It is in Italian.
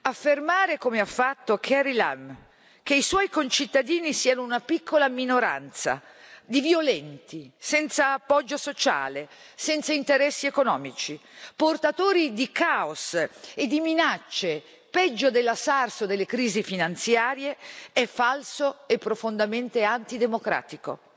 Affermare, come ha fatto Carrie Lam, che i suoi concittadini siano una piccola minoranza di violenti, senza appoggio sociale, senza interessi economici, portatori di caos e di minacce, peggio della SARS o delle crisi finanziarie, è falso e profondamente antidemocratico.